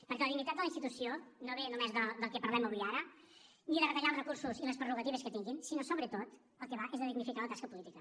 perquè la dignitat de la institució no ve només del que parlem avui ara ni de retallar els recursos i les prerrogatives que tinguin sinó sobretot del que va és de dignificar la tasca política